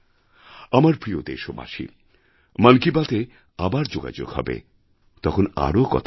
আমার প্রিয় দেশবাসী মন কি বাতএ আবার যোগাযোগ হবে তখন আরও কথা বলবো